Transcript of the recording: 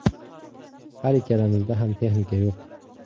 Har ikkalamizda ham texnika yo‘q.